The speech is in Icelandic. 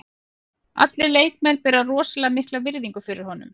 Allir leikmenn bera rosalega mikla virðingu fyrir honum.